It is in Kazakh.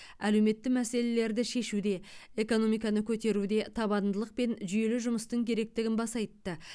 әлеуметті мәселелерді шешуде экономиканы көтеруде табандылық пен жүйелі жұмыстың керектігін баса айтты